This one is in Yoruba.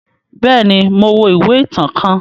Bẹẹni, Mo wo ìwé ìtàn kàn